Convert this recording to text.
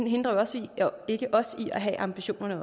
hindrer os ikke i også at have ambitionerne